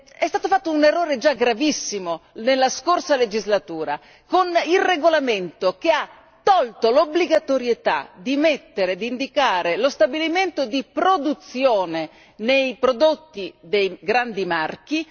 È stato fatto un errore già gravissimo nella scorsa legislatura con il regolamento che ha tolto l'obbligatorietà di indicare lo stabilimento di produzione nei prodotti dei grandi marchi.